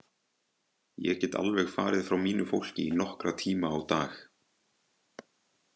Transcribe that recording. Ég get alveg farið frá mínu fólki í nokkra tíma á dag.